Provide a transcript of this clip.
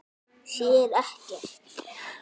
Sér ekkert.